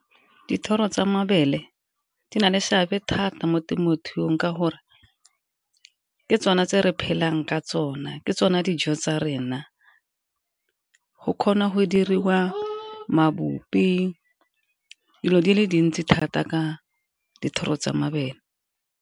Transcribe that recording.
Dithoro tsa mabele di na le seabe thata mo temothuong ka gore ke tsone tse re phelang ka tsone, ke tsone dijo tsa rena go kgona go diriwa mabopi dilo di le dintsi thata ka dithoro tsa mabele.